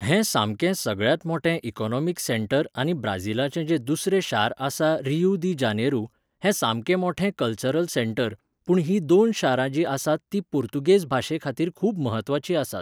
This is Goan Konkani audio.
हें सामकें सगळ्यांत मोठें इकनॉमिक सँटर आनी ब्राजीलाचें जे दुसरें शार आसा रियू दी जानेरु, हें सामकें मोठें कल्चरल सँटर, पूण ही दोन शारां जीं आसात तीं पुर्तुगेज भाशे खातीर खूब महत्वाचीं आसात